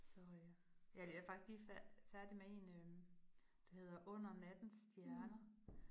Så øh ja det er faktisk lige færdig med en øh, der hedder Under Nattens Stjerner